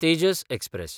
Tejas express